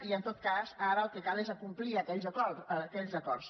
i en tot cas ara el que cal és acomplir aquells acords